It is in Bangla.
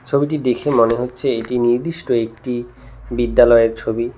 ছবিটি দেখে মনে হচ্ছে এটি নির্দিষ্ট একটি বিদ্যালয়ের ছবি।